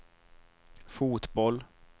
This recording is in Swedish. fotboll